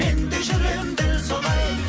менде жүремін дәл солай